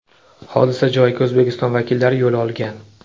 Hodisa joyiga O‘zbekiston vakillari yo‘l olgan .